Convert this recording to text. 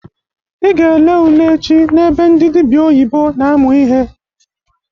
I ga ele ule echi na ebe ndị dịbịa oyibo na-amụ ihe!